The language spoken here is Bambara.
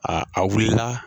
A a wilila